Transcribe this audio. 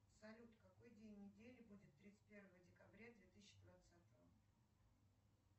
салют какой день недели будет тридцать первого декабря две тысячи двадцатого